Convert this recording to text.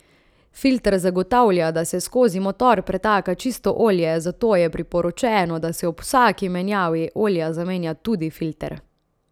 Filter zagotavlja, da se skozi motor pretaka čisto olje, zato je priporočeno, da se ob vsaki menjavi olja zamenja tudi filter.